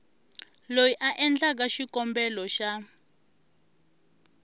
loyi a endlaku xikombelo xa